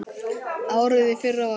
Árið í fyrra var gott.